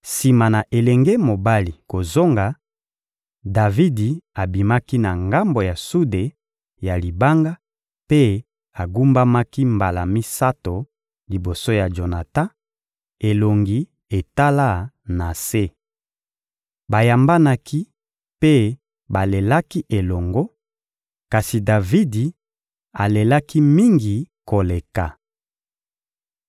Sima na elenge mobali kozonga, Davidi abimaki na ngambo ya sude ya libanga mpe agumbamaki mbala misato liboso ya Jonatan, elongi etala na se. Bayambanaki mpe balelaki elongo, kasi Davidi alelaki mingi koleka.